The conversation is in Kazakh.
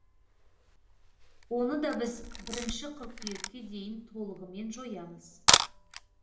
оны да біз бірінші қыркүйекке дейін толығымен жоямыз